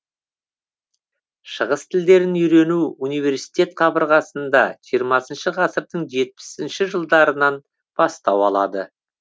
шығыс тілдерін үйрену университет қабырғасында жиырмасыншы ғасырдың жетпісінші жылдарынан батау алады